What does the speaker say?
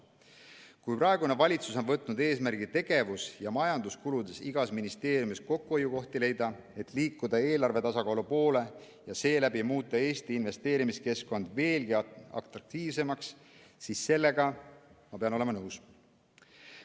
Kui praegune valitsus on võtnud eesmärgi leida igas ministeeriumis tegevus- ja majanduskuludest kokkuhoiukohti, et liikuda eelarve tasakaalu poole ja seeläbi muuta Eesti investeerimiskeskkond veelgi atraktiivsemaks, siis sellega ma pean olema nõus.